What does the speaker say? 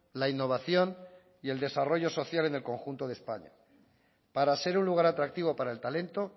la innovación y el desarrollo social en el conjunto de españa para ser un lugar atractivo para el talento